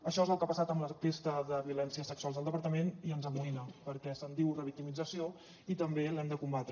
això és el que ha passat amb l’enquesta de violències sexuals al departament i ens amoïna perquè se’n diu revictimització i també l’hem de combatre